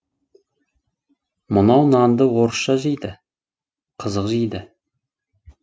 мынау нанды орысша жейді қызық жейді